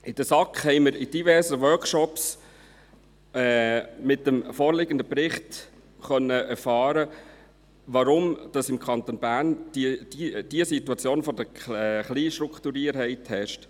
In der SAK haben wir in diversen Workshops zum vorliegenden Bericht erfahren können, weshalb diese Situation der Kleinstrukturiertheit im Kanton Bern vorherrscht.